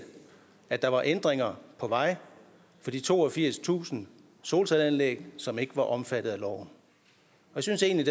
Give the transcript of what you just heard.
at der var ændringer på vej for de toogfirstusind solcelleanlæg som ikke var omfattet af loven jeg synes egentlig